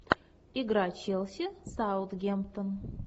игра челси саутгемптон